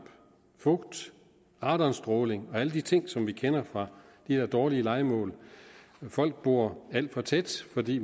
og fugt radonstråling og alle de ting som vi kender fra de her dårlige lejemål folk bor alt for tæt fordi